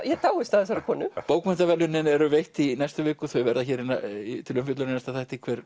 ég dáist að þessari konu bókmenntaverðlaunin eru veitt í næstu viku þau verða hér til umfjöllunar í næsta þætti hver